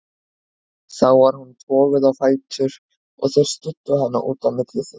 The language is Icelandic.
Þá var hún toguð á fætur og þeir studdu hana út á milli sín.